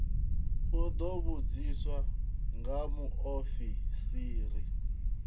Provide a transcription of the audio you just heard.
u ḓo vhudziswa nga muofisiri